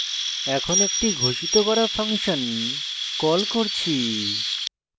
এখানে একটি ঘোষিত করা ফাংশন কল করছি